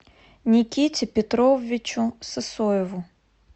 никите петровичу сысоеву